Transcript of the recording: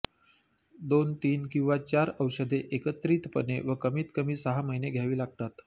दोन तीन किंवा चार औषधे एकत्रितपणे व कमीत कमी सहा महिने घ्यावी लागतात